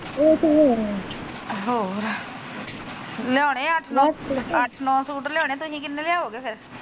ਹੋਰ ਲਿਉਣੇ ਅੱਠ ਨੋ ਅੱਠ ਨੋ ਸੂਟ ਲਿਓਣੇ ਤੂਸੀ ਕਿੰਨੇ ਲਿਆਓਗੇ ਫਿਰ?